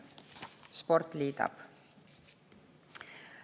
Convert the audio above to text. Sport liidab.